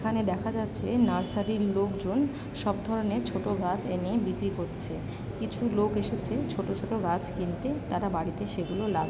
এখানে দেখা যাচ্ছে নার্সারি লোকজন সব ধরনের ছোট গাছ এনে বিক্রি করছে কিছু লোক এসেছে ছোট ছোট গাছ কিনতে তারা বাড়িতে সেগুলো লাগা --